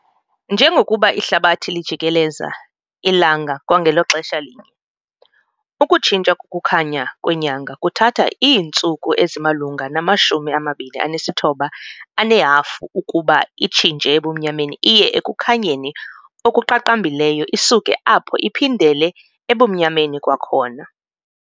Njengokuba ihlabathi lijikelelza ilanga kwangelo xesha linye, ukutshintsha kokukhanya kwenyanga kuthatha iintsuku ezimalunga nama-29½ ukuba itshintshe ebumnyameni iye ekukhanyeni okuqaqambileyo isuke apho iphindele ebumnyameni kwakhona.